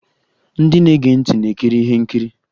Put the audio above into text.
Ndị na-ege ntị na-ekiri ihe nkiri.